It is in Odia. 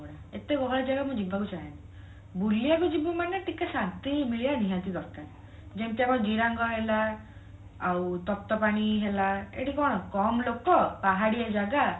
ଏତେ ଗହଳି ଜାଗା ମୁଁ ଯିବାକୁ ଚାହେଁନି ବୁଲିବାକୁ ଯିବୁ ମାନେ ଟିକେ ଶାନ୍ତି ମିଳିବା ନିହାତି ଦରକାର ଯେମିତି ଆମର ଜିରାଙ୍ଗ ହେଲା ଆଉ ତପ୍ତପାଣି ହେଲା ଏଇଠି କଣ କମ ଲୋକ ପାହାଡିଆ ଜାଗା